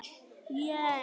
Grét, áttu tyggjó?